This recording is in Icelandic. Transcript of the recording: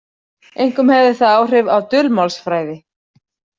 Einkum hefði það áhrif á dulmálsfræði.